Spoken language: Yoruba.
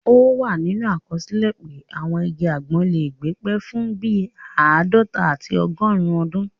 Ó wà nínú àkọsílẹ̀ pé àwọn igi àgbọn lè gbé pẹ́ fún bíi àádọta àti ọgọrùn ọdún